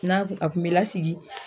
N'a kun a kun be lasigi